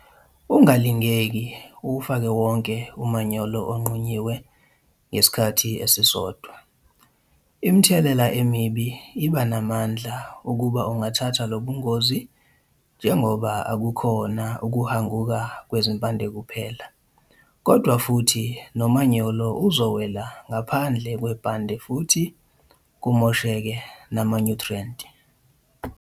Ungalingeki uwufake wonke umanyolo onqunyiwe ngesikhathi esisodwa. Imithelela emibi iba namandla ukuba ungathatha lo bungozi njengoba akukhona ukuhanguka kwezimpande kuphela kodwa futhi nomanyolo uzowela ngaphandle kwebhande futhi kumoseke namanyuthriyenti.